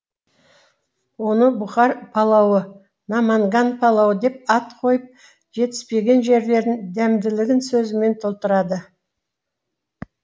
оны бұхар палауы наманган палауы деп ат қойып жетіспеген жерлерін дәмділігін сөзімен толтырады